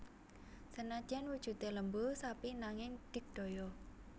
Senadyan wujudé lembu sapi nanging digdaya